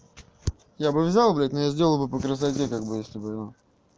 я бы взял блядь но я сделал бы по красоте как бы если бы его